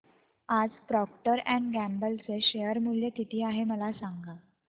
आज Procter and Gamble चे share मूल्य किती आहे मला सांगा